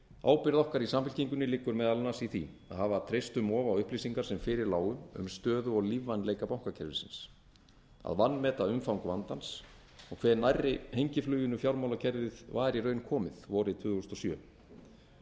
ábyrgð okkar í samfylkingunni liggur meðal annars í því að hafa treyst um of á upplýsingar sem fyrir lágu um stöðu og lífvænleika bankakerfisins að vanmeta umfang vandans og hve nærri hengifluginu fjármálakerfið var í raun komið vorið tvö þúsund og sjö og